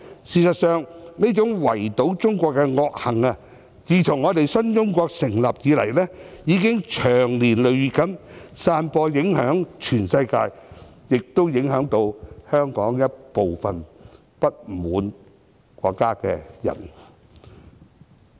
事實上，這種圍堵中國的惡行，自新中國成立以來，已經長年累月散播，影響全世界，亦影響到香港一部分不滿國家的人。